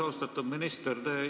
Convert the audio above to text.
Austatud minister!